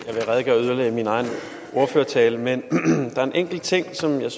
min egen ordførertale men der er en enkelt ting som jeg